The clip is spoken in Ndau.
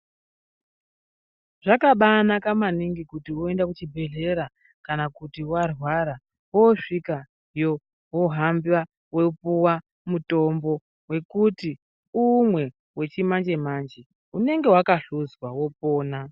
Zvakabaanaka maningi kuti unoenda kuchibhedhlera kana kuti warwara woosvikayo wohamba wopuwa mutombo wekuti umwe wechimanje-manje unenge wakahluzwa, wopona.